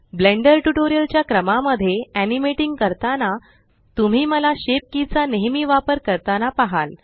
blender tutorial च्या क्रमा मध्ये एनिमेटिंग करताना तुम्ही मला शेप की चा नेहेमी वापर करताना पहाल